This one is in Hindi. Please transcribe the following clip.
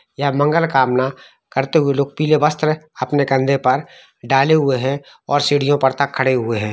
यहां मंगलकामना करते हुए पीले वस्त्र अपने कंधे पर डाले हुए है और सीड़ियो पर तक खड़े हुए है।